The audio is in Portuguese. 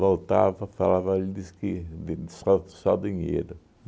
Voltava, falava, ele diz que de só só dinheiro.